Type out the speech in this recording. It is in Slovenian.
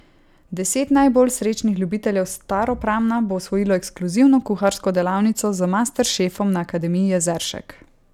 Deset najbolj srečnih ljubiteljev Staropramna bo osvojilo ekskluzivno kuharsko delavnico z master šefom na Akademiji Jezeršek.